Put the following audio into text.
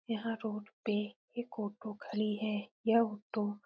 यहाँ रोड पे एक ऑटो खड़ी है यह ऑटो --